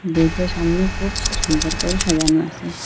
বাড়িটার সামনে খুব সুন্দর করে সাজানো আছে।